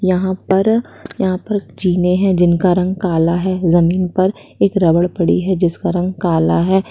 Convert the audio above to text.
यहाँ पर यहाँ पर चीले है जिनका रंग काला है जमीं पर एक रबड़ पड़ी है जिनका रंग काला है।